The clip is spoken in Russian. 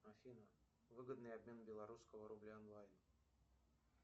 афина выгодный обмен белорусского рубля онлайн